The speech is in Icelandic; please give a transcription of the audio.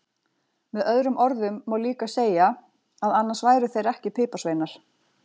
Með öðrum orðum má líka segja að annars væru þeir ekki piparsveinar!